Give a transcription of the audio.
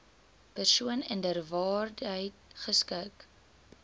persoon inderwaarheid geskik